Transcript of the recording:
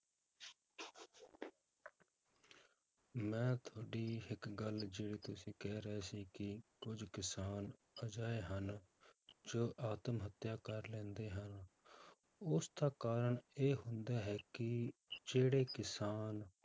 ਮੈਂ ਤੁਹਾਡੀ ਇੱਕ ਗੱਲ ਜਿਵੇਂ ਤੁਸੀਂ ਕਹਿ ਰਹੇ ਸੀ ਕਿ ਕੁੱਝ ਕਿਸਾਨ ਅਜਿਹੇ ਹਨ ਜੋ ਆਤਮ ਹੱਤਿਆ ਕਰ ਲੈਂਦੇ ਹਨ, ਉਸਦਾ ਕਾਰਨ ਇਹ ਹੁੰਦਾ ਹੈ ਕਿ ਜਿਹੜੇ ਕਿਸਾਨ